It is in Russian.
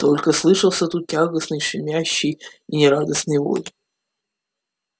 только слышался тут тягостный щемящий и нерадостный вой